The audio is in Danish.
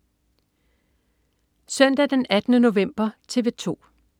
Søndag den 18. november - TV 2: